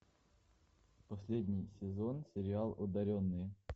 последний сезон сериал одаренные